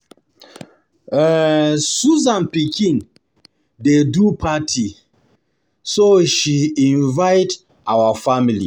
um Susan pikin dey do party so she invite our family